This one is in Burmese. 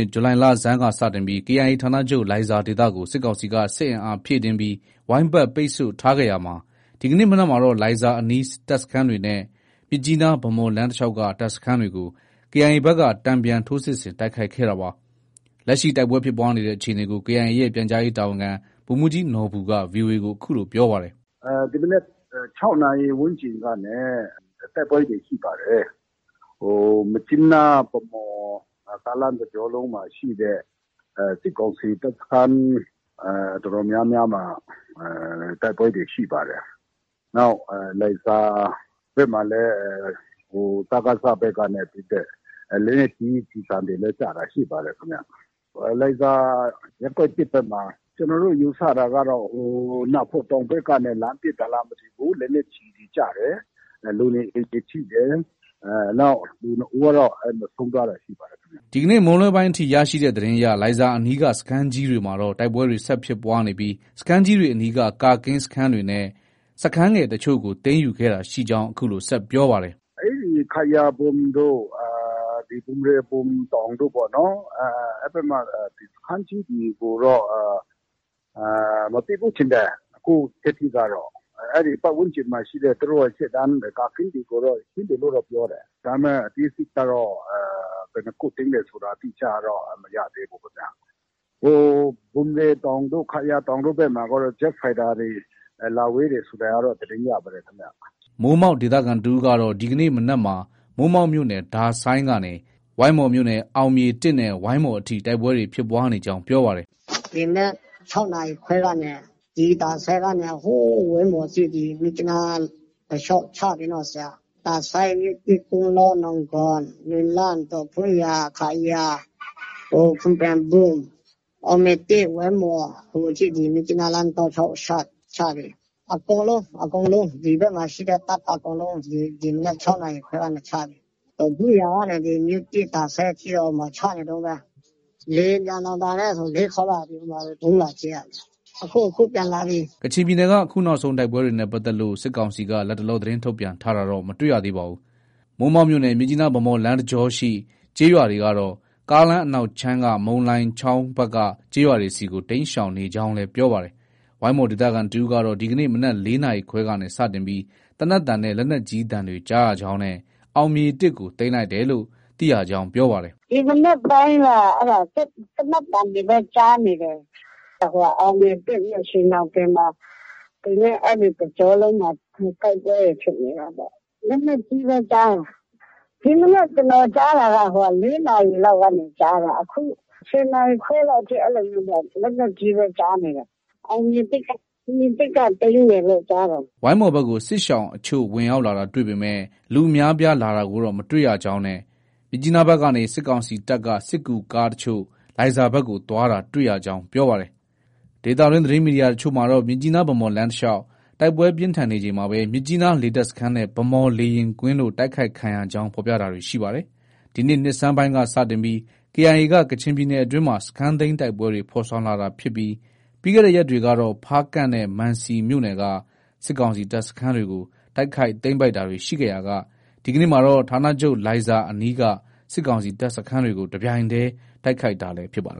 စ် ဇူလိုင်လဆန်းက စတင်ပြီး KIA ဌာနချုပ်လိုင်ဇာဒေသကို စစ်ကောင်စီက စစ်အင်အားဖြည့်တင်းပြီး ဝိုင်းပတ် ပိတ်ဆို့ထားခဲ့ရာမှာ ဒီကနေ့မနက်မှာတော့ လိုင်ဇာအနီးတပ်စခန်းတွေနဲ့ မြစ်ကြီးနား - ဗန်းမော်လမ်းတလျှောက်က တပ်စခန်းတွေကို KIA ဘက်က တန်ပြန်ထိုးစစ်ဆင် တိုက်ခိုက်ခဲ့တာပါ။ လက်ရှိ တိုက်ပွဲဖြစ်ပွားနေတဲ့အခြေအနေကို KIA ရဲ့ ပြန်ကြားရေးတာဝန်ခံ ဗိုလ်မှုးကြီးနော်ဘူက VOA ကို အခုလို ပြောပါတယ်။ “ ဒီမနက် ၆နာရီ ဝန်းကျင်ကနေ တိုက်ပွဲတွေ ရှိပါတယ်။ မြစ်ကြီးနား- ဗန်းမော် ကားလမ်းတကြောလုံးမှာရှိတဲ့ စစ်ကောင်စီတပ်စခန်း တော်တော်များများမှာ တိုက်ပွဲတွေ ရှိပါတယ်။ နောက် လိုင်ဇာဘက်မှာလည်း စကစ ဘက်ကနေ ပစ်တဲ့ လက်နက်ကြီး ကျည်ဆံတွေလည်း ကျတာ ရှိပါတယ်။ လိုင်ဇာ ရပ်ကွက် ၁ ဘက်မှာ ကျနော်တို့ ယူဆတာကတော့ နားဖော့တောင်ဘက်ကနေ လှမ်းပစ်တာလားမသိဘူး။ လက်နက်ကြီးကျည် ကျတယ်။ လူနေအိမ်တွေ ထိတယ်။ နောက်လူ ၂ ဦးကတော့ ဆုံးသွားတာရှိပါတယ်။ ” ဒီနေ့ မွန်းလွဲပိုင်းအထိ ရရှိတဲ့သတင်းအရ လိုင်ဇာအနီးက စခန်းကြီးတွေမှာတော့ တိုက်ပွဲတွေ ဆက်ဖြစ်ပွားနေပြီး စခန်းကြီးတွေအနီးက ကာကင်းစခန်းတွေနဲ့ စခန်းငယ်အချို့ကို သိမ်းယူခဲ့တာရှိကြောင်း အခုလို ဆက်ပြောပါတယ်။ “ အဲဒီ ခယာဘွမ်တို့၊ ဘွမ်ရဲဘွမ်တောင်တို့ပေါ့နော်၊ အဲဒီဘက်မှာ စခန်းကြီးတွေကိုတော့ မသိမ်းဘူးထင်တယ်။ အခုထက်ထိကတော့၊ ပတ်ဝန်းကျင်မှာရှိတဲ့ သူတို့ရဲ့ ရှေ့တန်းကာကင်းတွေကိုတော့ သိမ်းတယ်လို့တော့ ပြောတယ်။ ဒါပေမဲ့ အသေးစိတ်ကတော့ ဘယ်နှစ်ခု သိမ်းတယ်ဆိုတာ အတိအကျတော့ မရသေးဘူးခင်ဗျ။ ဘွမ်ရဲတောင်တို့၊ ခယာတောင်တို့ဘက်မှာတော့ ဂျက်ဖိုက်တာတွေ လာဝဲတယ်ဆိုတာကတော့ သတင်းရပါတယ်။ ” မိုးမောက်ဒေသခံတဦးကတော့ ဒီကနေ့မနက်မှာ မိုးမောက်မြို့နယ် ဒါဆိုင်းကနေ ဝိုင်းမော်မြို့နယ် အောင်မြေ ၁ နဲ့ ဝိုင်းမော်အထိ တိုက်ပွဲတွေ ဖြစ်ပွားနေကြောင်းပြောပါတယ်။ “ ဒီမနက် ၆နာရီခွဲကနေ ဒီ ဒါဆိုင်းကနေ ဟိုးဝိုင်းမော်အထိ မြစ်ကြီးနား(လမ်း)တလျောက် ချပြီနော်။ ဒါဆိုင်း၊ မြို့သစ်၊ ကုန်းလော၊ နောင်ဂွန်၊ နွယ်လန်း၊ ဒေါ့ဖုန်းယန်၊ ခါယာ၊ ဖွန်ပြန်ဘွမ်၊ အောင်မြေ၁၊ ဝိုင်းမော် ဒီမြစ်ကြီးနားလမ်းတောက်လျောက် ချပြီ။ အကုန်လုံး၊ အကုန်လုံး ဒီဘက်မှာရှိတဲ့ တပ်အကုန်လုံး ဒီမနက် ၆နာရီခွဲကနေ ချပြီ။ ဒေါ့ဖုန်းယန်ကနေ မြို့သစ်၊ ဒါဆိုင်းအထိကတော့ ချနေတုံးပဲ။ လေယာဉ်ပျံတောင် ဒါနဲ့ ဆို ၄ခေါက်လာပြီ။ အဲဒီမှာ ဗုံးလာကြဲတာလေ။ အခု အခု ပြန်လာပြီ။ ” ကချင်ပြည်နယ်က အခုနောက်ဆုံး တိုက်ပွဲတွေနဲ့ ပတ်သက်လို့ စစ်ကောင်စီက လတ်တလော သတင်းထုတ်ပြန်တာတော့ မတွေ့ရသေးပါဘူး။ မိုးမောက်မြို့နယ် မြစ်ကြီးနား- ဗန်းမော်လမ်းတကြောရှိ ကျေးရွာတွေကတော့ ကားလမ်းအနောက်ခြမ်းက မုန်လိုင်ချောင်းဘက်က ကျေးရွာတွေဆီကို တိမ်းရှောင်နေကြောင်းလည်း ပြောပါတယ်။ ဝိုင်းမော်ဒေသခံတဦးကတော့ ဒီနေ့မနက် ၄နာရီခွဲကနေ စတင်ပြီး သေနတ်သံနဲ့ လက်နက်ကြီးသံတွေကြားရကြောင်းနဲ့ အောင်မြေ၁ ကို သိမ်းတယ်လို့ သိရကြောင်း ပြောပါတယ်။ “ ဒီမနက်ပိုင်းက သေနတ်သံတွေပဲ ကြားနေတယ်။ အောင်မြေ ၁၊ ၂ ၊ ရွှေညောင်ပင်မှာ အဲဒီတကြောလုံးမှာ တိုက်ပွဲတွေ ဖြစ်နေတာပေါ့။ လက်နက်ကြီးလည်း ကြားတယ်။ ဒီမနက် ကျနော် ကြားတာက ၄နာရီလောက်ကနေ ကြားတာ။ အခု ၁၀နာရီခွဲလောက်အထိ အဲလိုမျိုး လက်နက်ကြီးပဲ ကြားနေတာ။ အောင်မြေ ၁က သိမ်းတယ်လို့ ကြားတယ်။” ဝိုင်းမော်ဘက်ကို စစ်ရှောင်အချို့ဝင်ရောက်လာတာ တွေ့ပေမဲ့ လူအများအပြားလာတာကိုတော့ မတွေ့ရကြောင်းနဲ့ မြစ်ကြီးနားဘက်ကနေ စစ်ကောင်စီတပ်က စစ်ကူကားအချို့ လိုင်ဇာဘက်ကို သွားတာတွေ့ရကြောင်း ပြောပါတယ်။ ဒေသတွင်း သတင်းမီဒီယာအချို့မှာကတော့ မြစ်ကြီးနား- ဗန်းမော်လမ်းတလျှောက် တိုက်ပွဲပြင်းထန်နေချိန်မှာပဲ မြစ်ကြီးနားလေတပ်စခန်းနဲ့ ဗန်းမော်လေယာဉ်ကွင်းတို့ တိုက်ခိုက်ခံရကြောင်း ဖော်ပြတာတွေရှိပါတယ်။ ဒီနှစ်နှစ်ဆန်းပိုင်းက စတင်ပြီး KIA က ကချင်ပြည်နယ်အတွင်းမှာ စခန်းသိမ်းတိုက်ပွဲတွေ ဖော်ဆောင်လာတာဖြစ်ပြီး ပြီးခဲ့တဲ့ ရက်တွေကတော့ ဖားကန့်နဲ့ မံစီမြို့နယ်က စစ်ကောင်စီတပ်စခန်းတွေကို တိုက်ခိုက်၊ သိမ်းပိုက်တာတွေ ရှိခဲ့ရာက ဒီကနေ့မှာတော့ ဌာနချုပ်လိုင်ဇာအနီးက စစ်ကောင်စီတပ်စခန်းတွေကို တပြိုင်တည်း တိုက်ခိုက်လာတာလည်း ဖြစ်ပါတယ်